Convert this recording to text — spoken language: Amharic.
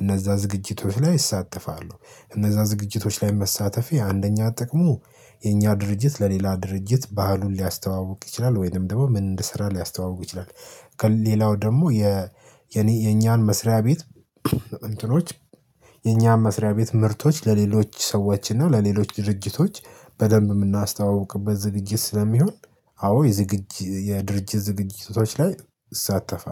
እነዛ ዝግጅቶች ላይ እሳተፋለው። እነዛ ዝግጅቶች ላይ መሳተፌ አንደኛ ጥቅሙ የእኛ ድርጅት ለሌላ ድርጅት ባህሉን ሊያስተዋውቅ ይችላል ወይንም ደግሞ ምን እንድሰራ ስራ ሊያስተዋውቁ ይችላል። ከሌላው ደግሞ የ የኔ የኛን መስሪያ ቤት እንትኖች የኛም መስሪያ ቤት ምርቶች ለሌሎች ሰዎች እና ለሌሎች ድርጅቶች በደንብ የምናስተዋውቅበት ዝግጅት ስለሚሆን። አዎ የዝግጅ የድርጅት ዝግጅቶች ላይ እሳተፋለሁ